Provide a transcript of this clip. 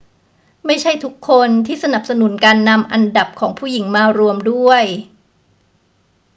ไม่ใช่ทุกคนที่สนับสนุนการนำอันดับของผู้หญิงมารวมด้วย